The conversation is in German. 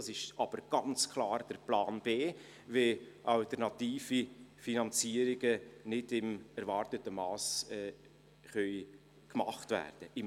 Das ist aber ganz klar Plan B, wenn alternative Finanzierungen nicht im erwarteten Mass getätigt werden können.